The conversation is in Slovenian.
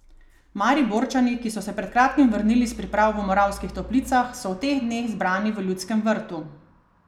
Mariborčani, ki so se pred kratkim vrnili s priprav v Moravskih Toplicah, so v teh dneh zbrani v Ljudskem vrtu.